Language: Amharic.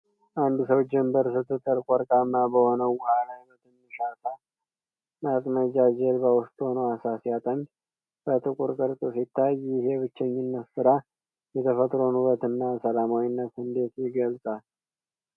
አንድ ሰው ጀንበር ስትጠልቅ ወርቃማ በሆነው ውሃ ላይ በትንሽ የዓሣ ማጥመጃ ጀልባ ውስጥ ሆኖ ዓሣ ሲያጠምድ በጥቁር ቅርጽ ሲታይ፣ ይህ የብቸኝነት ሥራ የተፈጥሮን ውበትና ሰላማዊነት እንዴት ይገልጻል?